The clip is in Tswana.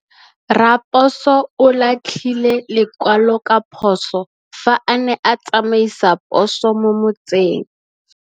Raposo o latlhie lekwalô ka phosô fa a ne a tsamaisa poso mo motseng.